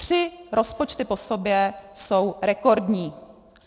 Tři rozpočty po sobě jsou rekordní.